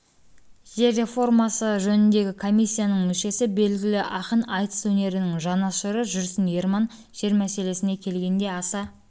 жер реформасы жөніндегі комиссияның мүшесі белгілі ақын айтыс өнерінің жанашыры жүрсін ерман жер мәселесіне келгенде аса